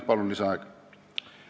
Palun lisaaega!